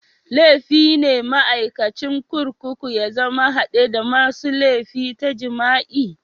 Laifi ne maikacin kurkuku ya zama hadde da masun laifi ta jima'i.